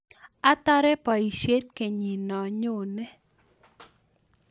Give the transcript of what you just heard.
Atare boisiet kenyino nyone